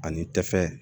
Ani tɛfɛ